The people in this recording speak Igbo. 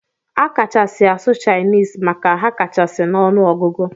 Akachasi asụ chinese maka ha kachasi na ọnụ ọgụgụ.